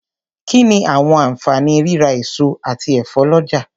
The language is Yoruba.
Kí ni àwọn àǹfààní rírà èso àti ẹ̀fọ́ lọ́jà.